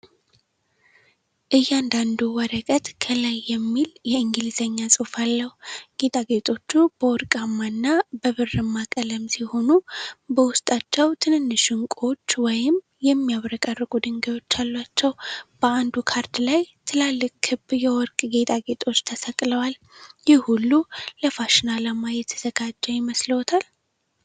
እያንዳንዱ ወረቀት ከላይ የሚል የእንግሊዘኛ ጽሑፍ አለው። ጌጣጌጦቹ በወርቃማ እና በብርማ ቀለም ሲሆኑ፣ በውስጣቸው ትንንሽ ዕንቁዎች ወይም የሚያብረቀርቁ ድንጋዮች አሏቸው። በአንዱ ካርድ ላይ ትላልቅ ክብ የወርቅ ጌጣጌጦች (hoops) ተሰቅለዋል። ይህ ሁሉ ለፋሽን ዓላማ የተዘጋጀ ይመስልዎታል?